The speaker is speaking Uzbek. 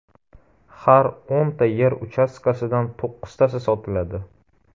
Har o‘nta yer uchastkasidan to‘qqiztasi sotiladi.